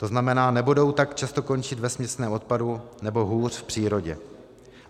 To znamená, nebudou tak často končit ve směsném odpadu, nebo hůř v přírodě.